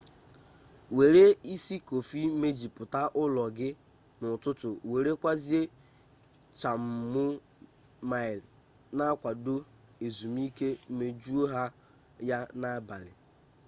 were isi kofi mejuputa ulo gi n'ututu were kwazia chamomile n'akwado ezumike mejuo ya n'abali